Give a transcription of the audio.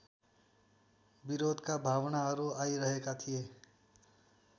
विरोधका भावनाहरू आइरहेका थिए